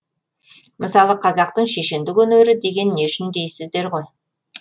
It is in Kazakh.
мысалы қазақтың шешендік өнері деген не үшін дейсіздер ғой